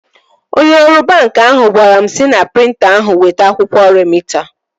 Onye ọrụ banki ahụ gwara m sị na prịnta ahụ weta akwụkwọ remịta m